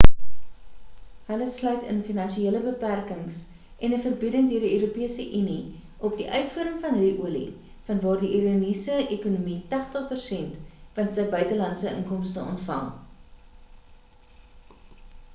hulle sluit in finansiële beperkings en 'n verbieding deur die europese unie op die uitvoer van ru-olie van waar af die iraniese ekonomie 80% van sy buitelandse inkomste ontvang